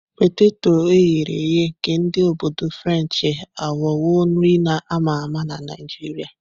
Peteto eghere eghe nke ndi obodo Frenchi aghọwo nri a ma ama na Naijiria.